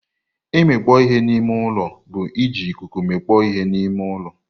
Imikpo ihe n'ime ụlọ bụ iji ikuku mikpọ ihe n'ime ụlọ.